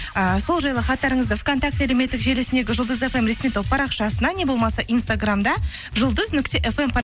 ыыы сол жайлы хаттарыңызды вконтакте әлеуметтік желісіндегі жұлдыз фм ресми топ парақшасына не болмаса инстаграмда жұлдыз нүкте фм